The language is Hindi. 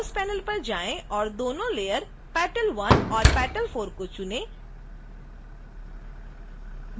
layers पैनल पर जाएं और दोनों लेयर petal_3 और petal_4 चुनें